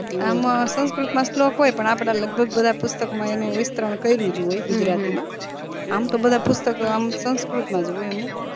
આમાં સંસ્કૃત માં શ્લોક હોય પણ આપના લગભગ આ પુસ્તકો માં એનું વિસ્તરણ કર્યુજ હોય ગુજરાતી માં આમ તો બધા પુસ્તક આમ સંસ્કૃત મજ હોય અમુક